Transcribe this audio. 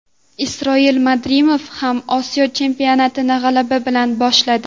Isroil Madrimov ham Osiyo chempionatini g‘alaba bilan boshladi .